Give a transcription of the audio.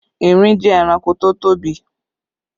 Erin jẹ́ ẹranko tó tóbi